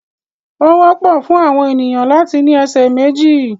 Ó wọ́pọ̀ fún àwọn ènìyàn láti ní ẹsẹ̀ méjì.